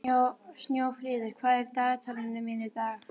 Snjófríður, hvað er í dagatalinu mínu í dag?